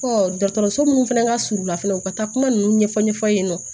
dɔgɔtɔrɔso munnu fɛnɛ ka surun u la fɛnɛ u ka taa kuma ninnu ɲɛfɔ ɲɛfɔ ye yen nɔ